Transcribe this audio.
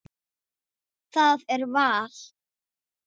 Það er val.